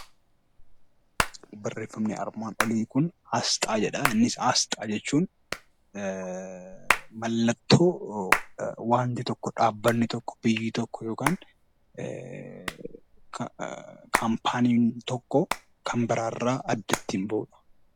Barreeffamni armaan olii kun 'Asxaa' jedha. Innis Asxaa jechuun mallattoo wanti tokko, dhaabbatni tokko, biyyi tokko yookaan kaampaaniin tokko kan biraa irraa adda ittiin bahu dha.